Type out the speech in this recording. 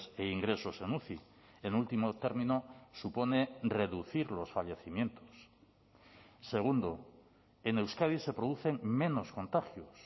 e ingresos en uci en último término supone reducir los fallecimientos segundo en euskadi se producen menos contagios